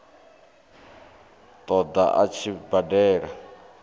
ṱo ḓa a tshi badela